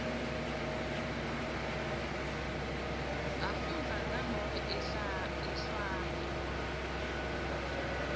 afundza nanobe ehlwaya